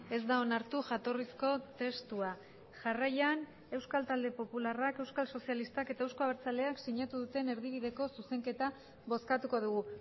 ez da onartu jatorrizko testua jarraian euskal talde popularrak euskal sozialistak eta euzko abertzaleak sinatu duten erdibideko zuzenketa bozkatuko dugu